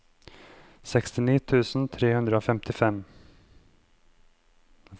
sekstini tusen tre hundre og femtien